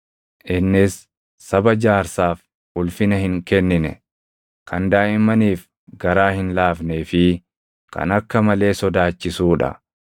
innis saba jaarsaaf ulfina hin kennine, kan daaʼimmaniif garaa hin laafnee fi kan akka malee sodaachisuu dha.